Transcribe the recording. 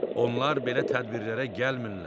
Onlar belə tədbirlərə gəlmirlər.